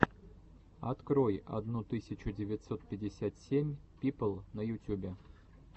открой одну тысячу девятьсот пятьдесят семь пипл на ютюбе